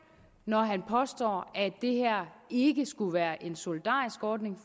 når han påstår at det her ikke skulle være en solidarisk ordning